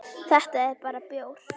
Þetta er bara bjór.